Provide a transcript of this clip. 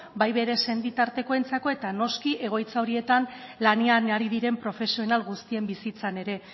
bai bere senitartekoentzako eta noski egoitza horietan lanean ari diren profesional guztien bizitzan ere